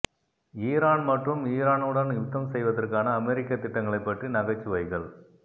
Iran மற்றும் ஈரானுடன் யுத்தம் செய்வதற்கான அமெரிக்க திட்டங்களைப் பற்றி நகைச்சுவைகள்